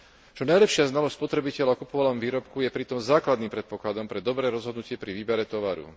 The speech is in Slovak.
Čo najlepšia znalosť spotrebiteľa o kupovanom výrobku je pritom základným predpokladom pre dobré rozhodnutie pri výbere tovaru.